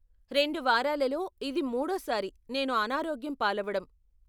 రెండు వారాలలో ఇది మూడో సారి నేను అనారోగ్యం పాలవడం.